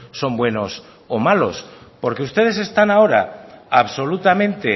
son buenos o malos porque ustedes están ahora absolutamente